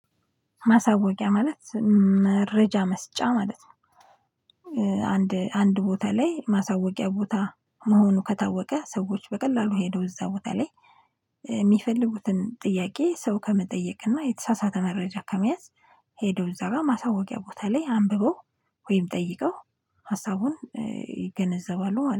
ማሳወቂያ ማለት መረጃ መስጫ ማለት ነው። አንድ ቦታ ላይ ማሳወቂያ ቦታ መሆኑ ከታወቀ ሰዎች በቀላሉ ሄደው እዛ ቦታ ላይ ሚፈልጉትን ጥያቄ ሰው ከመጠየቅና የተሳሳተ መረጃ ከመያዝ ሄደው እዛ ጋ ማሳወቂያ ቦታ ላይ አንብበው ወይም ጠይቀው ሀሳቡን ይገነዘባሉ